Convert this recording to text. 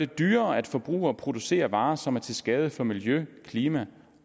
dyrere at forbruge og producere varer som er til skade for miljø klima